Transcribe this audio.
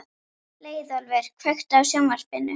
Leiðólfur, kveiktu á sjónvarpinu.